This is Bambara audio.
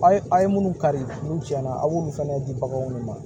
A ye a ye minnu kari n'u tiɲɛna a b'olu fɛnɛ di bagan minnu ma